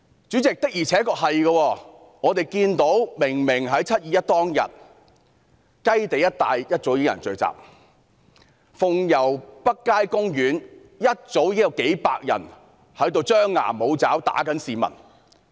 我們明明看到在"七二一"當天，雞地一帶早已有人聚集，在鳳攸北街休憩處一早已有數百人張牙舞爪，襲擊市民。